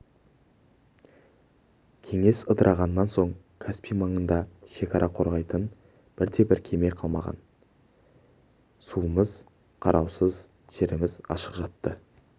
кеңес ыдырағаннан соң каспий маңында шекара қорғайтын бірде-бір кеме қалмаған еді суымыз қараусыз жеріміз ашық жатты